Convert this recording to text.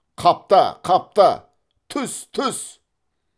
қапта қапта түс түс